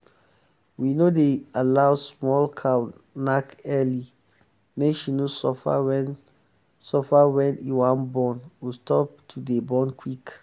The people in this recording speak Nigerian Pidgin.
we no dey allow small cow knack early make she no suffer when suffer when e wan born or stop to dey born quick.